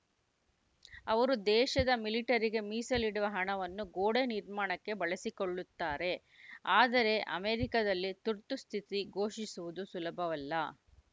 ಅವರು ದೇಶದ ಮಿಲಿಟರಿಗೆ ಮೀಸಲಿಡುವ ಹಣವನ್ನು ಗೋಡೆ ನಿರ್ಮಾಣಕ್ಕೆ ಬಳಸಿಕೊಳ್ಳುತ್ತಾರೆ ಆದರೆ ಅಮೆರಿಕದಲ್ಲಿ ತುರ್ತುಸ್ಥಿತಿ ಘೋಷಿಸುವುದು ಸುಲಭವಲ್ಲ